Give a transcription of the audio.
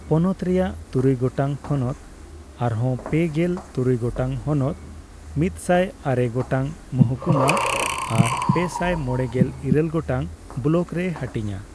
ᱯᱚᱱᱚᱛ ᱨᱮᱭᱟᱜ ᱛᱩᱨᱩᱭ ᱜᱚᱴᱟᱝ ᱴᱷᱚᱱᱚᱛ ᱟᱨᱦᱚᱸ ᱯᱮᱜᱮᱞ ᱛᱩᱨᱩᱭ ᱜᱚᱴᱟᱝ ᱦᱚᱱᱚᱛ, ᱑᱐᱙ ᱜᱚᱴᱟᱝ ᱢᱚᱦᱩᱠᱩᱢᱟ ᱟᱨ ᱯᱮᱥᱟᱭ ᱢᱚᱲᱮᱜᱮᱞ ᱤᱨᱟᱹᱞ ᱜᱚᱴᱟᱝ ᱵᱚᱞᱚᱠ ᱨᱮ ᱦᱟᱹᱴᱤᱧᱟ ᱾